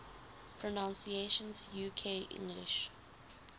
pronunciations uk english